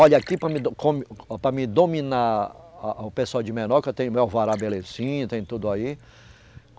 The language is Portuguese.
Olha, aqui para mim do, come, para mim dominar a, a, o pessoal de menor, que eu tenho meu alvará belezinha, tenho tudo aí.